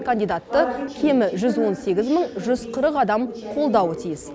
кандидатты кемі жүз он сегіз мың жүз қырық адам қолдауы тиіс